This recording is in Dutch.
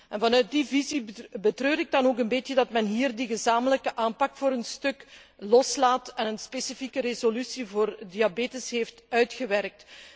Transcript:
En vanuit die visie betreur ik dan ook een beetje dat men hier die gezamenlijke aanpak voor een stuk loslaat en een specifieke resolutie voor diabetes heeft uitgewerkt.